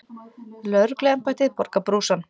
Lögregluembættið borgar brúsann.